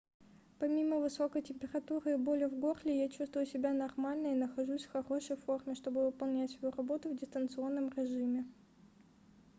помимо высокой температуры и боли в горле я чувствую себя нормально и нахожусь в хорошей форме чтобы выполнять свою работу в дистанционном режиме